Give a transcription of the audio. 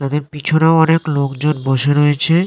তাদের পিছনেও অনেক লোকজন বসে রয়েছে--